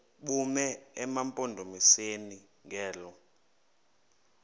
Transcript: bume emampondomiseni ngelo